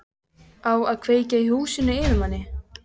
Á að kveikja í húsinu fyrir manni!